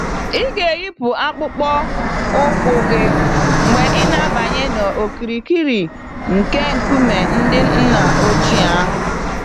Ịga-eyipụ akpụkpọ ụkwụ gị mgbe ị na-abanye n'okirikiri nke nkume ndị nna ochie ahụ